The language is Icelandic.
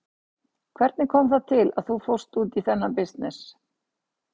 Hvernig kom það til að þú fórst út í þennan bisness?